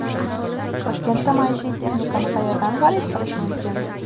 Toshkentda maishiy texnikani qayerdan xarid qilish mumkin?